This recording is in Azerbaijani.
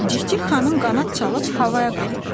Cikcik xanım qanad çalıb havaya qalxdı.